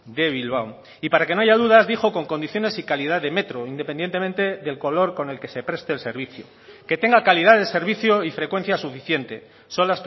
de bilbao y para que no haya dudas dijo con condiciones y calidad de metro independientemente del color con el que se preste el servicio que tenga calidad de servicio y frecuencia suficiente son